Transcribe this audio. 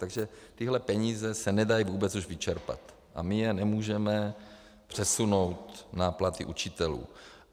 Takže tyhle peníze se nedají vůbec už vyčerpat a my je nemůžeme přesunout na platy učitelů.